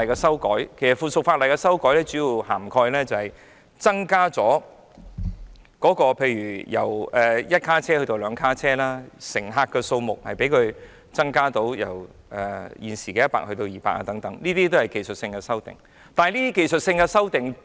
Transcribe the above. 是次法例修訂所涵蓋的，主要包括提升系統以採用較大車廂，好能把乘客數目由現時的100人增至約200人，這些都是技術性修訂。